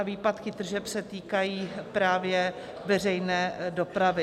A výpadky tržeb se týkají právě veřejné dopravy.